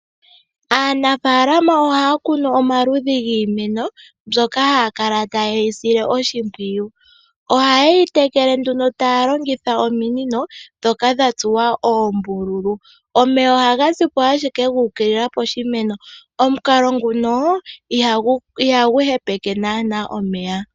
Aanafaalama ohaya kunu omaludhi giimeno mbyoka haya kala taye yi sile oshimpwiyu. Ohaye yi tekele nduno taya longitha ominino ndhoka dha tsuwa oombululu. Omeya ohaga ziko ashike guukilila poshimeno. Omukalo nguno ihagu hepeke naana omeya.